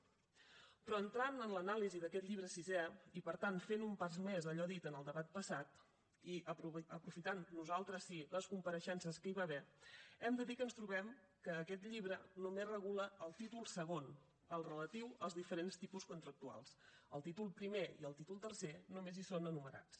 però entrant en l’anàlisi d’aquest llibre sisè i per tant fent un pas més a allò dit en el debat passat i aprofitant nosaltres sí les compareixences que hi va haver hem de dir que ens trobem que aquest llibre només en regula el títol segon el relatiu als diferents tipus contractuals el títol primer i el títol tercer només hi són enumerats